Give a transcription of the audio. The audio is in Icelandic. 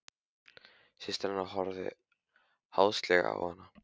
Systir hennar horfði háðslega á hana.